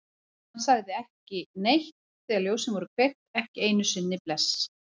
Hann sagði ekki neitt þegar ljósin voru kveikt, ekki einu sinni bless.